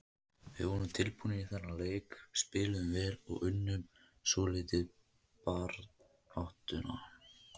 Við vorum tilbúnir í þennan leik, spiluðum vel og unnum svolítið baráttuna.